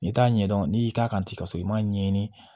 N'i t'a ɲɛdɔn n'i y'i k'a kan ten ka sɔrɔ i m'a ɲɛɲini